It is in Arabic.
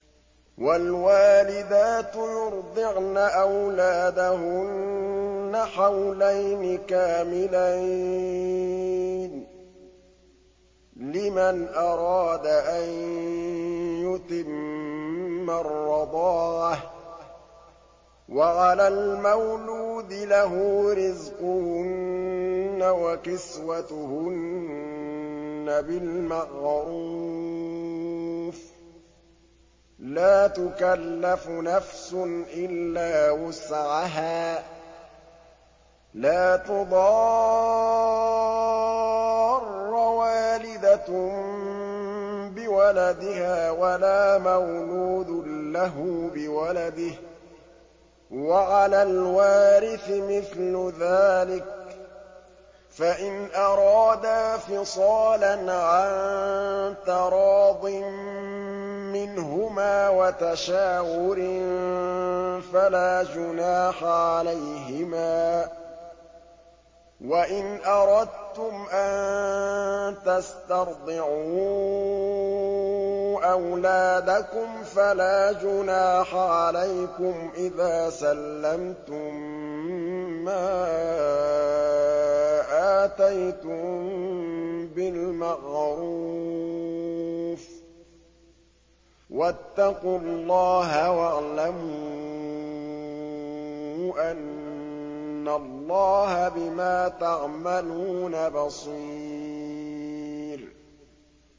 ۞ وَالْوَالِدَاتُ يُرْضِعْنَ أَوْلَادَهُنَّ حَوْلَيْنِ كَامِلَيْنِ ۖ لِمَنْ أَرَادَ أَن يُتِمَّ الرَّضَاعَةَ ۚ وَعَلَى الْمَوْلُودِ لَهُ رِزْقُهُنَّ وَكِسْوَتُهُنَّ بِالْمَعْرُوفِ ۚ لَا تُكَلَّفُ نَفْسٌ إِلَّا وُسْعَهَا ۚ لَا تُضَارَّ وَالِدَةٌ بِوَلَدِهَا وَلَا مَوْلُودٌ لَّهُ بِوَلَدِهِ ۚ وَعَلَى الْوَارِثِ مِثْلُ ذَٰلِكَ ۗ فَإِنْ أَرَادَا فِصَالًا عَن تَرَاضٍ مِّنْهُمَا وَتَشَاوُرٍ فَلَا جُنَاحَ عَلَيْهِمَا ۗ وَإِنْ أَرَدتُّمْ أَن تَسْتَرْضِعُوا أَوْلَادَكُمْ فَلَا جُنَاحَ عَلَيْكُمْ إِذَا سَلَّمْتُم مَّا آتَيْتُم بِالْمَعْرُوفِ ۗ وَاتَّقُوا اللَّهَ وَاعْلَمُوا أَنَّ اللَّهَ بِمَا تَعْمَلُونَ بَصِيرٌ